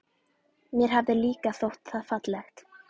Mér hafði líka þótt það fallegt.